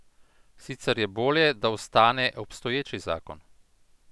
Sicer je bolje, da ostane obstoječi zakon.